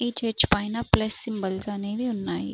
ఈ చర్చ్ పైన plus symbols అనేవి ఉన్నాయి.